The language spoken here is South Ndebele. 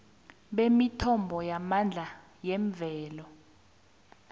bemithombo yamandla yemvelo